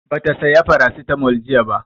Ba ta saya Farasitamol jiya ba